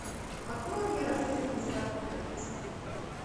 открой мне рождественская путаница